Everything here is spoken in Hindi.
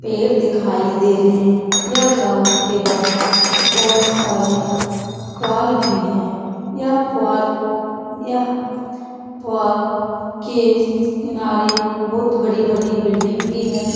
पेड़ दिखाई दे रहे हैं यह ग्राउंड के बाहर बहोत सारे पुआल भी हैं यह पुआल यह पुआल के किनारे बहुत बड़ी-बड़ी बिल्डिंग भी है।